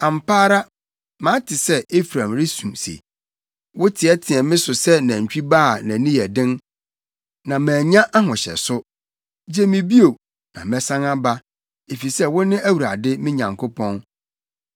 “Ampa ara mate sɛ Efraim resu se, ‘Woteɛteɛɛ me so sɛ nantwi ba a nʼani yɛ den, na manya ahohyɛso. Gye me bio, na mɛsan aba, efisɛ wo ne Awurade, me Nyankopɔn.